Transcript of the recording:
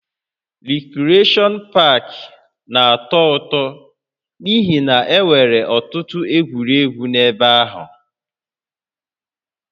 Rikreshọn pak na-atọ ụtọ n'ihi na e nwere ọtụtụ egwuregwu n'ebe ahụ